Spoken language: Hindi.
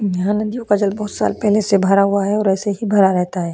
यहां नदियों का जल बहुत साल पहले से भरा हुआ है और ऐसे ही भरा रहता है।